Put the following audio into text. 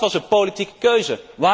Ook dat was een politieke keuze.